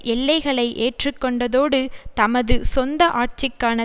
எல்லைகளை ஏற்று கொண்டதோடு தமது சொந்த ஆட்சிக்கான